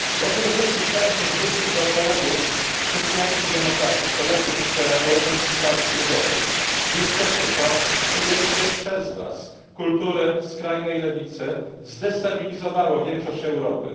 Przede wszystkich chciałbym się zwrócić do kolegów chrześcijańskich demokratów, kolegów z Europejskiej Partii Ludowej niestety, przyjęcie przez was kultury skrajnej lewicy zdestabilizowało większość Europy.